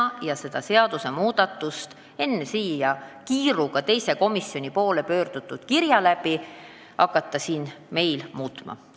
Pole tark seda pakutud seadusmuudatust teise komisjoni saadetud pöördumise peale meil siin hakata sisse viima.